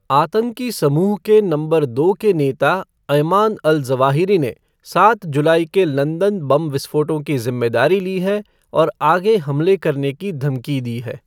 आतंकी समुह के नंबर दो के नेता अयमान अल ज़वाहिरी ने सात जुलाई के लंदन बम विस्फोटों की जिम्मेदारी ली है और आगे हमले करने की धमकी दी है।